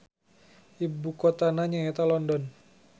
Ibu kotana nya eta London.